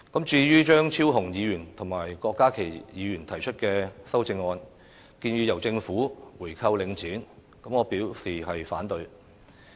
至於張超雄議員和郭家麒議員提出的修正案，建議由政府購回領展，我表示反對。